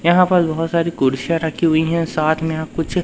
यहां पर बहोत सारी कुर्सियां रखी हुई है साथ में यहां कुछ--